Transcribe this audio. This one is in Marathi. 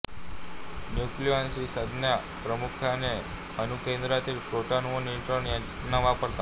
न्यूक्लिऑन ही संज्ञा प्रामुख्याने अणुकेंद्रातील प्रोटॉन व न्यूट्रॉन यांना वापरतात